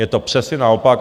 Je to přesně naopak.